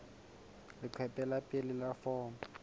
leqephe la pele la foromo